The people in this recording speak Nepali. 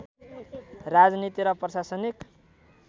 राजनीति र प्रशासनिक